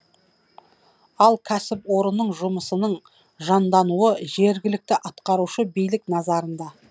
ал кәсіпорынның жұмысының жандануы жергілікті атқарушы билік назарында